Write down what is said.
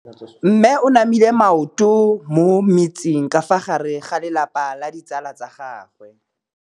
Mme o namile maoto mo mmetseng ka fa gare ga lelapa le ditsala tsa gagwe.